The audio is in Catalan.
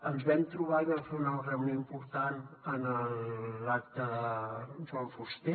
ens vam trobar i vam fer una reunió important en l’acte de joan fuster